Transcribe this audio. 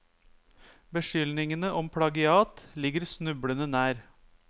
Beskyldningene om plagiat ligger snublende nær.